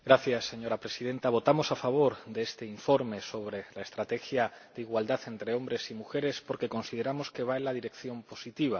Señora Presidenta, votamos a favor de este informe sobre la estrategia para la igualdad entre hombres y mujeres porque consideramos que va en la dirección positiva.